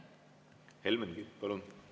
Helmen Kütt, palun!